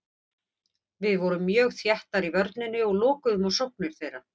Við vorum mjög þéttar í vörninni og lokuðum á sóknir þeirra.